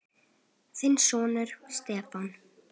Þinn sonur, Stefán.